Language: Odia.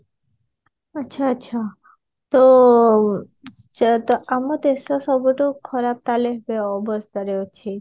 ଆଛା ଆଛା ତ ଆମ ଦେଶ ସବୁଠୁ ଖରାପ ତାହେଲେ ବ ଅବସ୍ଥାରେ ଅଛି